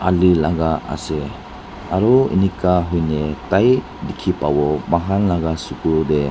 laka ase aru enika hoina tai dikhi pawo moikhan laka suku tey.